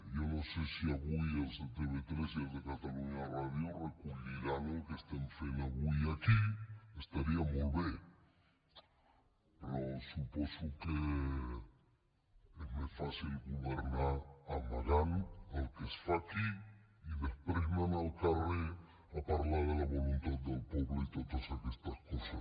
jo no sé si avui els de tv3 i els de catalunya ràdio recolliran el que estem fent avui aquí que estaria molt bé però suposo que és més fàcil governar amagant el que es fa aquí i després anant al carrer a parlar de la voluntat del poble i totes aquestes coses